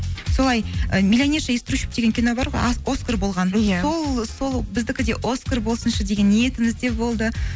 солай і миллионерша из трущеб деген кино бар ғой оскар болған иә сол біздікі де оскар болсыншы деген ниетіміз де болды